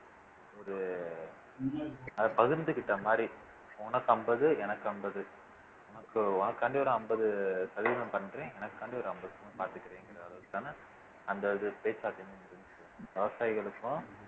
ஒரு அத பகிர்ந்துக்கிட்ட மாதிரி உனக்கு அம்பது எனக்கு அம்பது உனக்கு உனக்காண்டி ஒரு ஐம்பது சதவீதம் பண்றேன் எனக்காண்டி ஒரு ஐம்பது அந்த இது பேச்சு வார்த்தை விவசாயிகளுக்கும்